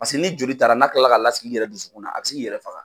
Paseke n'i joli taara n'a kilala k'a lasigi i yɛrɛ dusukun na a bɛ s'i k'i yɛrɛ faga.